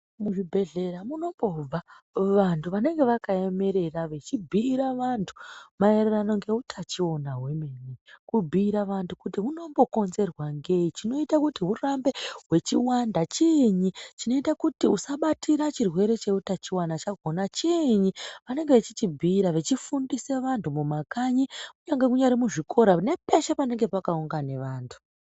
Muzvibhedhlera munombobva vanthu vanenge vakaemerera vechibhuyira vanthu maererano ngeutachiona hwemene. Kubhuyira vanthu kuti huno mbokonzerwa ngei, chinoita kuti hurambe hwechiwanda chiinyi, chinoita kuti usabatira chirwere cheutachiona chakona chiinyi. Vanenge vechichibhuyira vachifundisa vanthu mumakanyi kunyange nemuzvikora nepeshe panenge pakagara vanthu.